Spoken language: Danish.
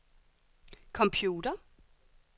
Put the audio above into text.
computer